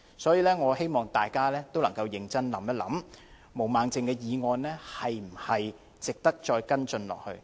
所以，我希望大家能夠認真考慮，毛孟靜議員提出的議案是否值得繼續跟進？